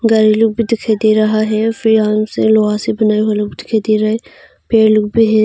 लोग भी दिखाई दे रहा है फिर यहाँ से लोहा से बनाए हुए लोग दिखाई दे रहा है पेड़ लोग भी है।